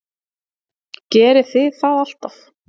Gerið þið það alltaf?